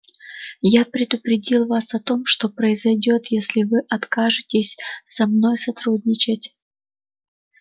я предупредила вас о том что произойдёт если вы откажетесь со мной сотрудничать